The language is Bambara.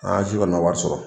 An si kɔni ma wari sɔrɔ